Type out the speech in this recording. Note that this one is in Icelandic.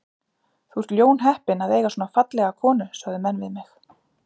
Þú ert ljónheppinn að eiga svona fallega konu sögðu menn við mig.